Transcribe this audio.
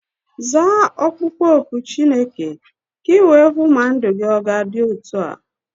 Zaa okpukpo oku Chineke ka iwee hụ ma ndụ gị ọ ga-adị otu a.